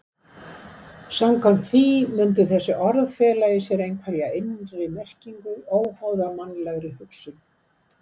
Samkvæmt því mundu þessi orð fela í sér einhverja innri merkingu óháða mannlegri hugsun.